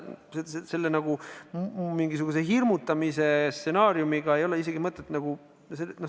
Ei ole mõtet mingisuguse stsenaariumiga hirmutada.